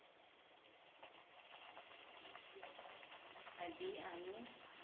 मधी आणि